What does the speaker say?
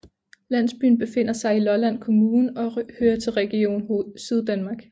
Landsbyen befinder sig i Lolland Kommune og hører til Region Syddanmark